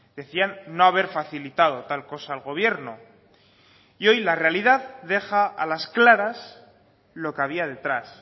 decían no haber facilitado tal cosa al gobierno y hoy la realidad deja a las claras lo que había detrás